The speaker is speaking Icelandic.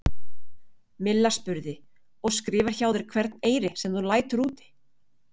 Milla spurði: Og skrifar hjá þér hvern eyri, sem þú lætur úti?